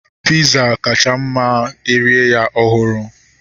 Piza kacha mma ma erie ya ọhụrụ